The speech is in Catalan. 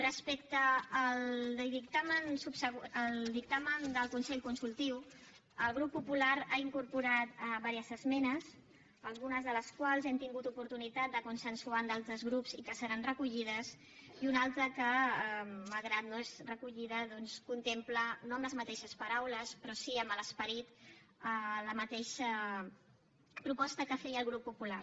respecte al dictamen del consell consultiu el grup popular ha incorporat diverses esmenes algunes de les quals hem tingut l’oportunitat de consensuar amb d’altres grups i que seran recollides i una altra que malgrat que no és recollida doncs contempla no amb les mateixes paraules però sí amb l’esperit la mateixa proposta que feia el grup popular